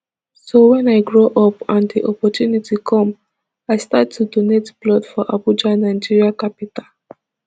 so wen i grow up and di opportunity come i start to donate blood for abuja nigeria capital